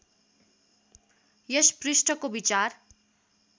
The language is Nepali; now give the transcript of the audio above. यस पृष्ठको विचार